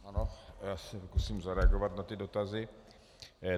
Ano, já se pokusím zareagovat na ty dotazy.